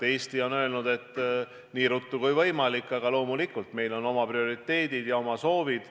Eesti on öelnud, et nii ruttu kui võimalik, aga loomulikult on meil oma prioriteedid ja oma soovid.